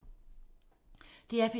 DR P3